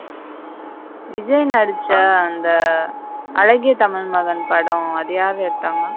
விஜய் நடிச்ச அந்த அழகிய தமிழ் மகன் படம் அது யாரு எடுத்தாங்க.